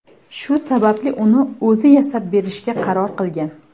Shu sababli uni o‘zi yasab berishga qaror qilgan.